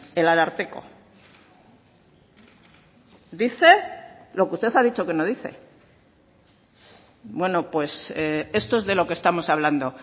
el ararteko dice lo que usted ha dicho que no dice bueno pues esto es de lo que estamos hablando